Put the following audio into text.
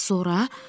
Bəs sonra?